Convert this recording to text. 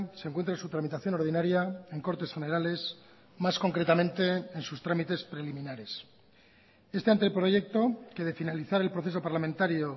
se encuentra en su tramitación ordinaria en cortes generales más concretamente en sus trámites preliminares este ante proyecto que de finalizar el proceso parlamentario